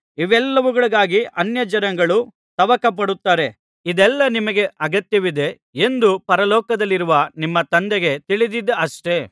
ಇವೆಲ್ಲವುಗಳಿಗಾಗಿ ಅನ್ಯಜನಗಳು ತವಕಪಡುತ್ತಾರೆ ಇದೆಲ್ಲಾ ನಿಮಗೆ ಅಗತ್ಯವಿದೆ ಎಂದು ಪರಲೋಕದಲ್ಲಿರುವ ನಿಮ್ಮ ತಂದೆಗೆ ತಿಳಿದಿದೆಯಷ್ಟೆ